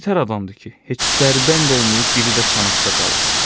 Bu nətər adamdır ki, heç dərbənd olmayıb, biri də çanaqda qalıb?